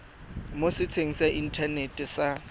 mo setsheng sa inthanete sa